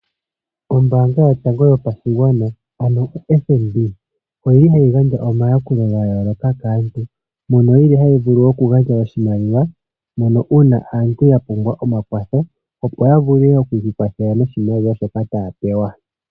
Ombaanga yotango yopashigwana ano oFNB oyimwe hayi gandja omayakulo ga yooloka kaantu, ndjono yili hayi vulu oku gandja oshimaliwa mpono uuna aantu ya pumbwa omakwatho, opo ya vule oku ikwathela noshimaliwa shoka taya pewa.